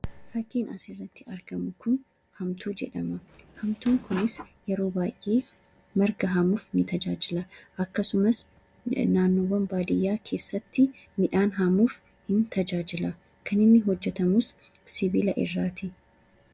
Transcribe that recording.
Fakkiin asirratti argamu kun haamtuu jedhama. Haamtuun kunis yeroo baay'ee marga haamuuf ni tajaajila. Akkasumas naannoowwan baadiyaa keessatti midhaan haamuuf tajaajila. Kan inni hojjetamus sibiila irraati.